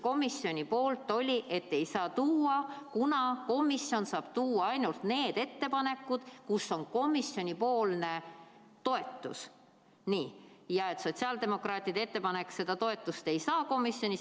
Komisjoni selgitus oli, et ei saa tuua, kuna komisjon saab tuua üle ainult need ettepanekud, millel on komisjoni toetus, ja et sotsiaaldemokraatide ettepanek seda toetust komisjonis ei saa.